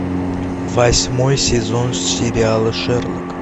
восьмой сезон сериала шерлок